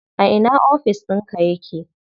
A ina ofis ɗinka yake?